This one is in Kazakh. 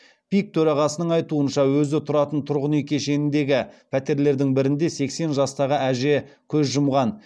пик төрағасының айтуынша өзі тұратын тұрғын үй кешеніндегі пәтерлердің бірінде сексен жастағы әже көз жұмған